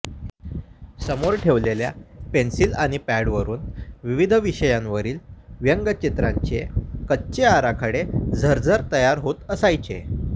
समोर ठेवलेल्या पेन्सिल आणि पॅडवरून विविध विषयांवरील व्यंगचित्रांचे कच्चे आराखडे झरझर तयार होत असायचे